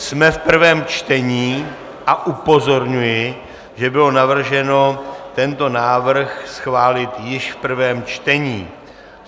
Jsme v prvém čtení a upozorňuji, že bylo navrženo tento návrh schválit již v prvém čtení.